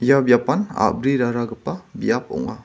ia biapan a·briraragipa biap ong·a.